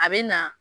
A bɛ na